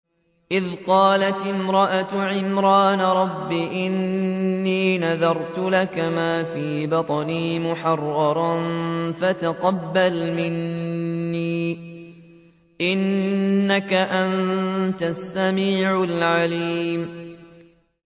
إِذْ قَالَتِ امْرَأَتُ عِمْرَانَ رَبِّ إِنِّي نَذَرْتُ لَكَ مَا فِي بَطْنِي مُحَرَّرًا فَتَقَبَّلْ مِنِّي ۖ إِنَّكَ أَنتَ السَّمِيعُ الْعَلِيمُ